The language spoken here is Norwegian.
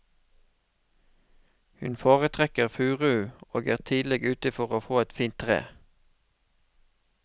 Hun foretrekker furu og er tidlig ute for å få et fint tre.